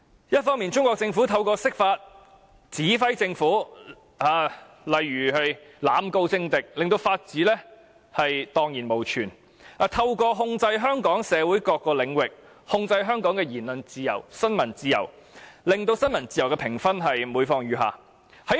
一方面，中國政府透過釋法，指揮政府例如濫告政敵，令法治蕩然無存，又透過控制香港社會各個領域，控制香港的言論自由和新聞自由，令新聞自由的評分每況愈下。